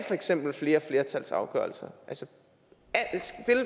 eksempel flere flertalsafgørelser